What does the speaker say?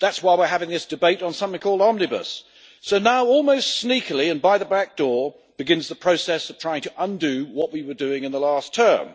That's why we're having this debate on something called Omnibus. So now, almost sneakily and by the back door, begins the process of trying to undo what we were doing in the last term.